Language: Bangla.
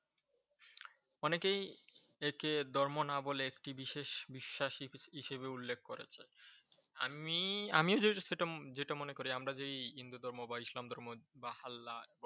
অনেকেই একে ধর্ম না বলে একটি বিশেষ বিশ্বাস হিসেবে উল্লেখ করেছে। আমি আমি যেটা মনে করি আমরা যে হিন্দু ধর্ম বা ইসলাম ধর্ম বা আল্লাহ